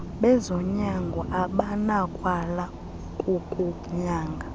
bezonyango abanakwala ukukunyanga